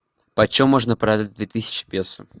почем можно продать две тысячи песо